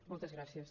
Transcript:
moltes gràcies